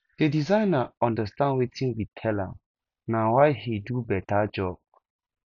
the designer understand wetin we tell am na why he do beta job